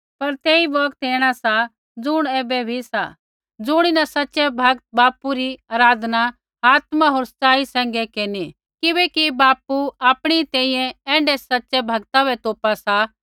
पर तेई बौगत ऐणा सा ज़ुण ऐबै भी सा ज़ुणीन सच़ै भक्त बापू री आराधना आत्मा होर सच़ाई सैंघै केरनी किबैकि बापू आपणी तैंईंयैं ऐण्ढै सच़ै भक्ता बै तोपा सा